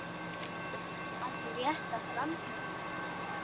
Að rétta fram hönd